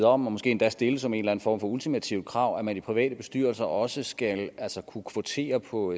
om og måske endda stille som en eller en form for ultimativt krav at man i private bestyrelser også skal kunne kvotere på